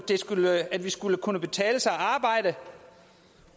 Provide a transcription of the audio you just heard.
kunne betale sig at arbejde